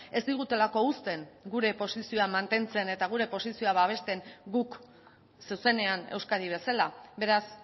ez digutelako uzten gure posizioa mantentzen eta gure posizioa babesten guk zuzenean euskadi bezala beraz